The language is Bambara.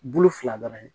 Bolo fila dɔrɔn ye